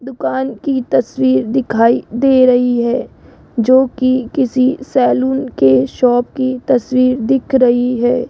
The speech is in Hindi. दुकान की तस्वीर दिखाई दे रही है जो कि किसी सैलून के शॉप की तस्वीर दिख रही है।